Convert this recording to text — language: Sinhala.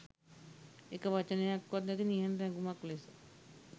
එක වචනයක්වත් නැති නිහඬ රැඟුමක් ලෙස